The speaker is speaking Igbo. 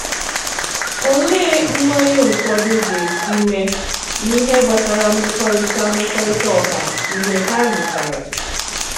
Olèé mgbáńyé ụfọdụ gā-èsì mèé n’íhè gbasàrà mèkòrítà mèkòrítà ọ̀hà mgbe hà lùchàrà?